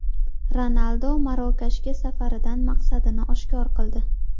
Ronaldu Marokashga safaridan maqsadini oshkor qildi.